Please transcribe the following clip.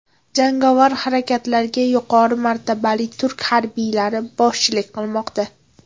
Jangovar harakatlarga yuqori martabali turk harbiylari boshchilik qilmoqda.